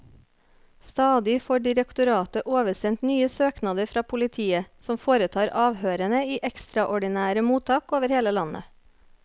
Stadig får direktoratet oversendt nye søknader fra politiet, som foretar avhørene i ekstraordinære mottak over hele landet.